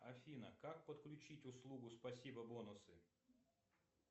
афина как подключить услугу спасибо бонусы